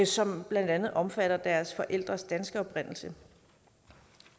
som blandt andet omfatter deres forældres danske oprindelse